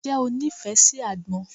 Ǹjẹ́ o nífẹ̀ẹ́ sí àgbọn?